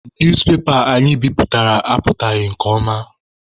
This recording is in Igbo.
Newspepa anyị bipụtara apụtaghị nke ọma.